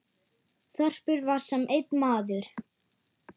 Þorpið var sem einn maður.